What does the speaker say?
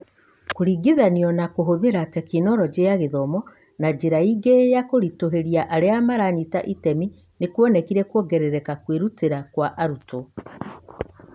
Kũringithanio na Kũhũthĩra Tekinoronjĩ ya Gĩthomo na njĩra ingĩ na kũritũhĩria arĩa maranyita itemi nĩ kuonekire kwongerera kwĩrutĩra kwa arutwo.